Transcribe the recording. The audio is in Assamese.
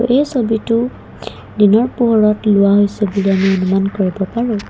এই ছবিটো দিনৰ পোহৰত লোৱা হৈছে বুলি আমি অনুমান কৰিব পাৰোঁ।